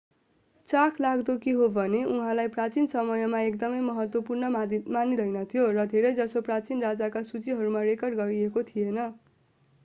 चाखलाग्दो के हो भने उहाँलाई प्राचीन समयमा एकदमै महत्त्वपूर्ण मानिँदैनथ्यो र धेरैजसो प्राचीन राजाका सुचीहरूमा रेकर्ड गरिएको थिएन